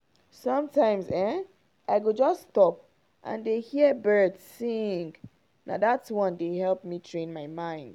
sometimes[um]i go just stop and dey hear birds sing — na that one dey help me train my mind.